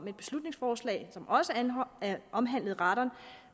et beslutningsforslag som også omhandlede radon